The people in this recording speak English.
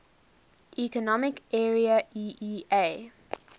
economic area eea